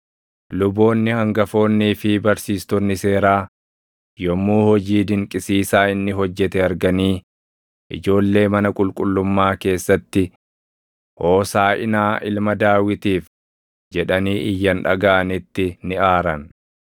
Luboonni hangafoonnii fi barsiistonni seeraa yommuu hojii dinqisiisaa inni hojjete arganii ijoollee mana qulqullummaa keessatti, “Hoosaaʼinaa ilma Daawitiif” jedhanii iyyan dhagaʼanitti ni aaran.